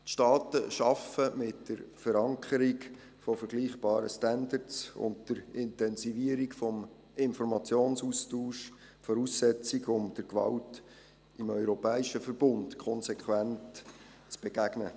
Die Staaten schaffen mit der Verankerung von vergleichbaren Standards und der Intensivierung des Informationsaustausches die Voraussetzung, um der Gewalt im europäischen Verbund konsequent zu begegnen.